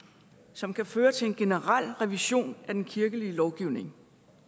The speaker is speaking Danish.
som kan føre til en generel revision af den kirkelige lovgivning